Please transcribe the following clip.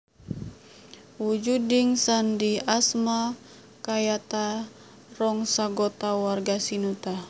Wujuding sandi asma kayata Rong sagota warga sinuta